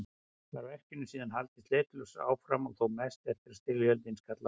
Var verkinu síðan haldið sleitulaust áfram og þó mest eftir að styrjöldin skall á.